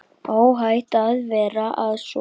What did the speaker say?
Óhætt að fara að sofa.